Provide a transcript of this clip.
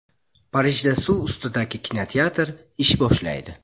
Parijda suv ustidagi kinoteatr ish boshlaydi.